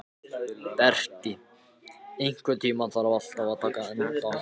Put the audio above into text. Berti, einhvern tímann þarf allt að taka enda.